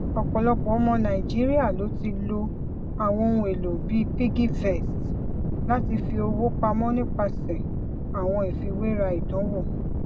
ọpọlọpọ ọmọ nàìjíríà ló ti lo àwọn ohun èlò bíi piggyvest láti fi owó pamọ nípasẹ àwọn ìfiwéra ìdánwò